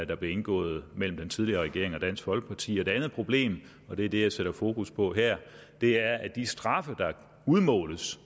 der blev indgået mellem den tidligere regering og dansk folkeparti toldkontrol det andet problem og det er det jeg sætter fokus på her er at de straffe der udmåles